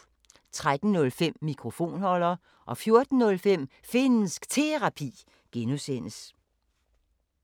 13:05: Mikrofonholder 14:05: Finnsk Terapi (G)